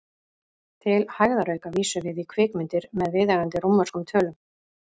Til hægðarauka vísum við í kvikmyndirnar með viðeigandi rómverskum tölum.